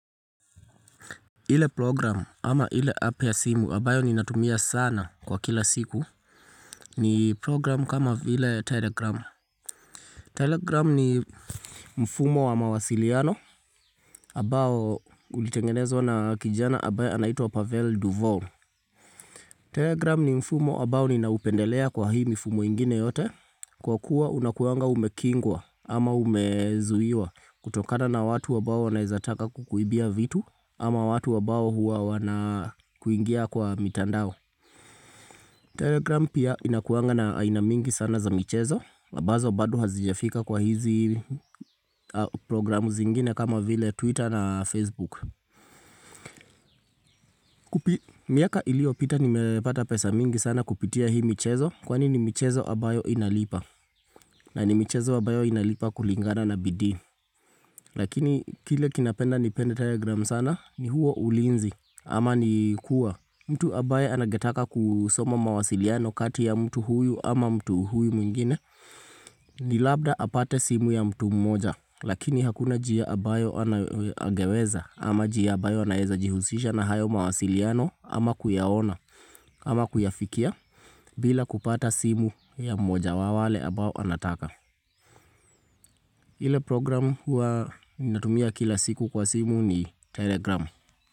Ile programu ama ile app ya simu ambayo ninatumia sana kwa kila siku ni programu kama vile telegramu. Telegramu ni mfumo wa mawasiliano ambao ulitengenezwa na kijana ambaye anaitwa Pavel Duval. Telegramu ni mfumo ambao ninaupendelea kwa hii mfumo ingine yote kwa kuwa unakuangwa umekingwa ama umezuiwa kutokana na watu ambao wanaezataka kukuibia vitu ama watu ambao huwa wanakuingia kwa mitandao Telegram pia inakuanga na aina mingi sana za michezo ambazo bado hazijafika kwa hizi programu zingine kama vile Twitter na Facebook miaka iliopita nimepata pesa mingi sana kupitia hii michezo Kwani ni michezo ambayo inalipa na ni michezo ambayo inalipa kulingana na bidii Lakini kile kinapenda nipende telegram sana ni huo ulinzi ama ni kuwa mtu ambaye angetaka kusoma mawasiliano kati ya mtu huyu ama mtu huyu mwingine ni labda apate simu ya mtu mmoja lakini hakuna njia ambayo angeweza ama njia ambayo naeza jihusisha na hayo mawasiliano ama kuyaona ama kuyafikia bila kupata simu ya mmoja wawale ambao anataka ile program huwa natumia kila siku kwa simu ni telegram.